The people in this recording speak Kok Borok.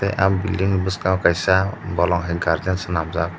aw building bwskango kaisa bolong hai garden swnamjaak.